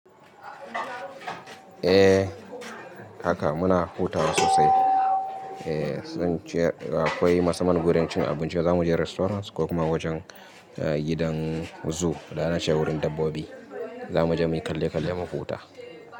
Eh haka muna hutawa sosai. Eh sun ce akwai masu mana gurin cin abinci za mu je restaurant ko kuma wajen gidan zoo, da na ce wurin dabbobi za mu je muyi kalle kalle mu huta.